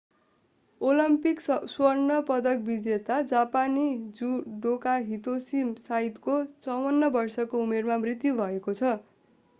Olympic स्वर्ण पदक विजेता जापानी जुडोका हितोसी साइतोको 54 वर्षको उमेरमा मृत्यु भएको छ